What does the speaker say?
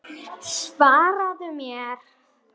Svaraðu mér.